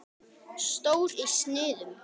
Stór í sniðum.